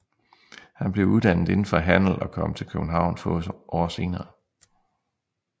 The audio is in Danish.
Han blev uddannet inden for handel og kom til København få år senere